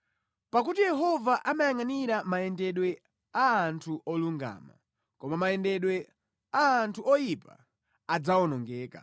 Pakuti Yehova amayangʼanira mayendedwe a anthu olungama, koma mayendedwe a anthu oyipa adzawonongeka.